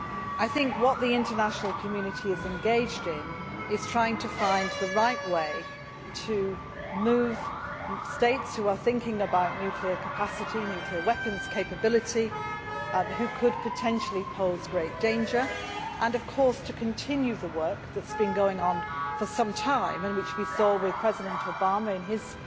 I think that what the international community is engaged in is trying to find the right way to move states which are thinking about nuclear capacity, nuclear weapons capability, and which could potentially pose great danger, and of course to continue the work that has been going on for some time and which we saw with President Obama in his